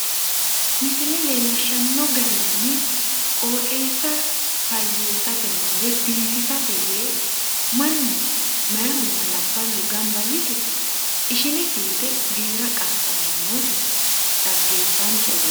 misile leellishshanno garinni qooxeessa fayyeessatena woy biifisate yee mannu meeyaahunna labballu gamba yite ishine fiite giira qassanni nooti xaggeefanchote.